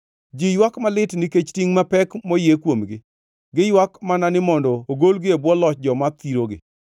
“Ji ywak malit nikech tingʼ mapek moyie kuomgi; giywak mana ni mondo ogolgi e bwo loch joma thirogi.